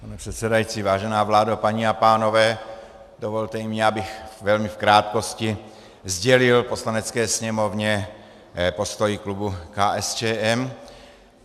Pane předsedající, vážená vládo, paní a pánové, dovolte mi, abych velmi v krátkosti sdělil Poslanecké sněmovně postoj klubu KSČM.